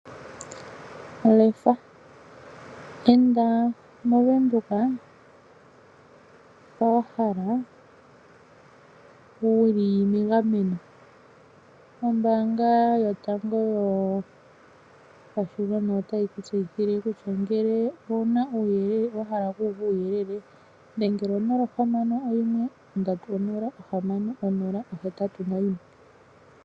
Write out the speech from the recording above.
Lefa. Enda moVenduka mpa wa hala wuli megameno. Ombaanga yotango yopashigwana otayi kutseyithile kutya ngele owuna uuyelele wa hala oku wu uva dhengela konomola ohamano oyimwe ondatu onola ohamano onola ohetatu noyimwe.